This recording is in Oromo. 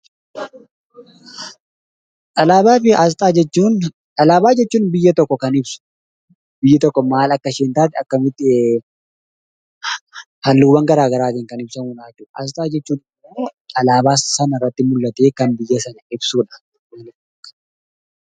Alaabaa jechuun kan biyya tokko ibsu biyyi tokko maal Akka isheen taatee halluuwwan garaagaraatiin kan ibsamudha. Asxaa jechuun immoo alaabaa sanarratti mul'atee kan ibsudha.